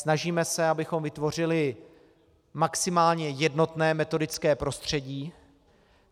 Snažíme se, abychom vytvořili maximálně jednotné metodické prostředí.